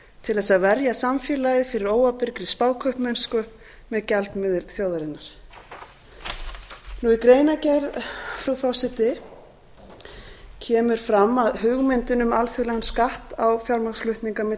til þess að verja samfélagið fyrir óábyrgri spákaupmennslu með gjaldmiðil þjóðarinnar í greinargerð frú forseti kemur fram að hugmyndin um alþjóðlegan skatt á fjármagnsflutninga milli